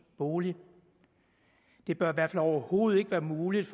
bolig det bør i hvert fald overhovedet ikke være muligt